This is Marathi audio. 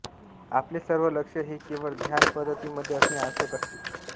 आपले सर्व लक्ष हे केवळ ध्यान पद्धतीमध्ये असणे आवश्यक असते